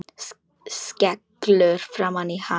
Skellur framan í hann.